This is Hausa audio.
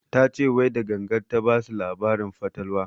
Ta ce wai da gangan ta basu labarin fatalwa